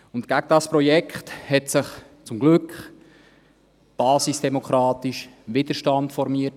Gegen dieses Projekt hat sich zum Glück basisdemokratisch vor Ort Widerstand formiert.